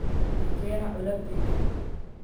Ii keena culaabtayda.